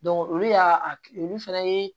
olu y'a olu fɛnɛ ye